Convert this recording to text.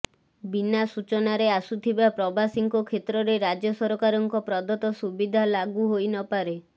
ବିନା ସୂଚନାରେ ଆସୁଥିବା ପ୍ରବାସୀଙ୍କ କ୍ଷେତ୍ରରେ ରାଜ୍ୟ ସରକାରଙ୍କ ପ୍ରଦତ୍ତ ସୁବିଧା ଲାଗୁ ହୋଇନପାରେ